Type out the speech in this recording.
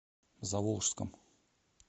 заволжском